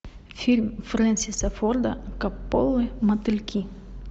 фильм фрэнсиса форда коппола мотыльки